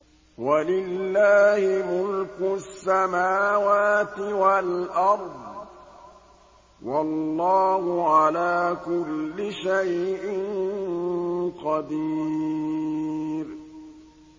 وَلِلَّهِ مُلْكُ السَّمَاوَاتِ وَالْأَرْضِ ۗ وَاللَّهُ عَلَىٰ كُلِّ شَيْءٍ قَدِيرٌ